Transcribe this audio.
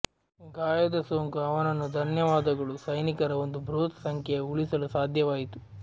ಗಾಯದ ಸೋಂಕು ಅವನನ್ನು ಧನ್ಯವಾದಗಳು ಸೈನಿಕರ ಒಂದು ಬೃಹತ್ ಸಂಖ್ಯೆಯ ಉಳಿಸಲು ಸಾಧ್ಯವಾಯಿತು